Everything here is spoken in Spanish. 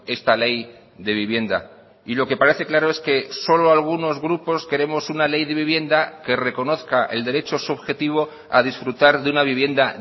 esta ley de vivienda y lo que parece claro es que solo algunos grupos queremos una ley de vivienda que reconozca el derecho subjetivo a disfrutar de una vivienda